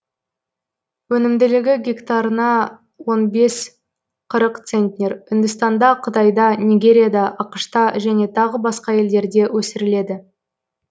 өнімділігі гектарына он бес қырық центнер үндістанда қытайда нигерияда ақш та және тағы басқа елдерде өсіріледі